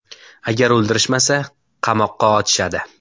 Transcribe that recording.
Agar o‘ldirishmasa, qamoqqa otishadi.